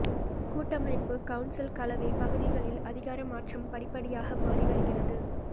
கூட்டமைப்பு கவுன்சில் கலவை பகுதிகளில் அதிகார மாற்றம் படிப்படியாக மாறிவருகிறது